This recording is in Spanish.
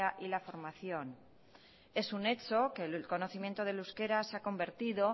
y la formación es un hecho que el conocimiento del euskera se ha convertido